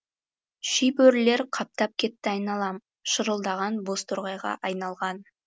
шибөрілер қаптап кетті айналам шырылдаған бозторғайға айналған